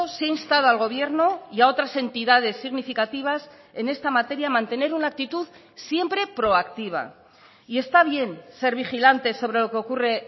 se ha instado al gobierno y a otras entidades significativas en esta materia a mantener una actitud siempre proactiva y está bien ser vigilante sobre lo que ocurre